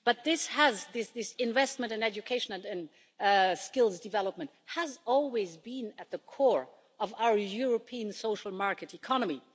But this investment in education and skills development has always been at the core of our European social market economy.